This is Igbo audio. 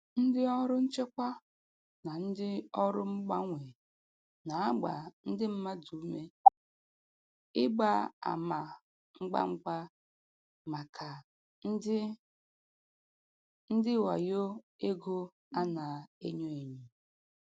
Ndị ọrụ nchekwa na ndị ọrụ mgbanwe na-agba ndị mmadụ ume ịgba ama ngwa ngwa maka ndị ndị wayo ego a na-enyo enyo.